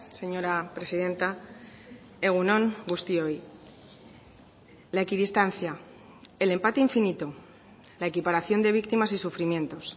señora presidenta egun on guztioi la equidistancia el empate infinito la equiparación de víctimas y sufrimientos